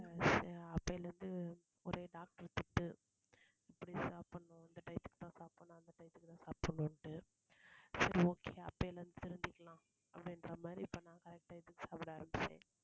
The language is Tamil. அப்போதுலேர்ந்து ஒரே doctor திட்டு இப்படி சாப்பிடணும் இந்த time க்கு தான் சாப்பிடணும் அந்த time க்கு தான் சாப்பிடணும்னு. சரி okay அப்போதுலேர்ந்து அப்படிங்கற மாதிரி நான் இப்போ correct time க்கு சாப்பிட ஆரம்பிச்சேன்.